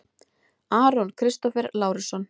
Aron Kristófer Lárusson